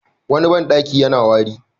Wani banɗaki yana wari.